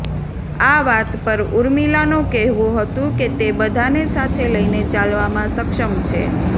આ વાત પર ઉર્મિલાનો કહેવું હતું કે તે બધાને સાથે લઈને ચાલવામાં સક્ષમ છે